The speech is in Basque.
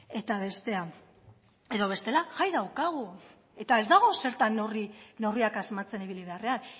eta bestea edo bestela jai daukagu eta ez dago zertan horri neurriak asmatzen ibili beharrean